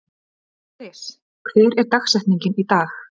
Aðlis, hver er dagsetningin í dag?